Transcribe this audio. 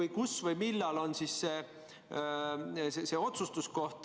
Ja kus või millal on siis see otsustamise koht?